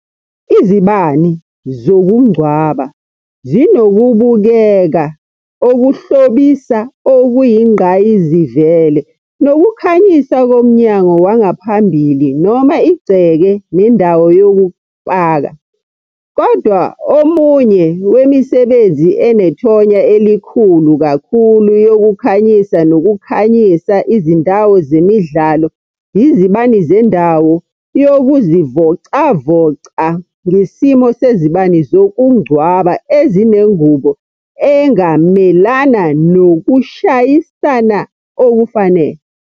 Izibani zokungcwaba zinokubukeka okuhlobisa okuyingqayizivele nokukhanyisa komnyango wangaphambili noma igceke nendawo yokupaka. Kodwa omunye wemisebenzi enethonya elikhulu kakhulu yokukhanyisa nokukhanyisa izindawo zemidlalo yizibani zendawo yokuzivocavoca ngesimo sezibani zokungcwaba ezinengubo engamelana nokushayisana okufanele.